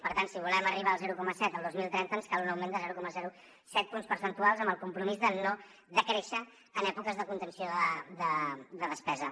per tant si volem arribar al zero coma set el dos mil trenta ens cal un augment de zero coma set punts percentuals amb el compromís de no decréixer en èpoques de contenció de despesa